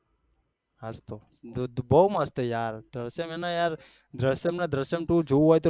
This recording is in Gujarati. હાસ તો બહુ મસ્ત છે યાર દ્રીશ્ય્મ અને દ્રીશ્ય્મ ટુ જોવું હોય ને તો